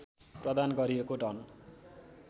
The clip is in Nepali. प्रदान गरिएको डन